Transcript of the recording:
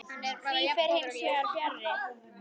Því fer hins vegar fjarri.